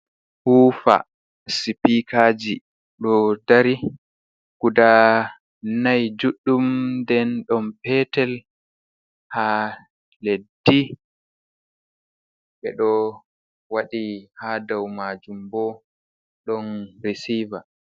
Huufa sipikaji ɗo dari guda nay juɗɗum, nden ɗon petel haa leddi, ɓe ɗo waɗi haa dou maajum bo ɗon resiva.